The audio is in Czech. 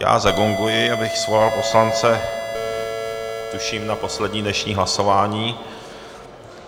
Já zagonguji, abych svolal poslance tuším na poslední dnešní hlasování.